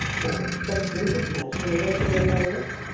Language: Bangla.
হ্যাঁ, কথা হ্যাঁ শোনা যাচ্ছে কথা আমার?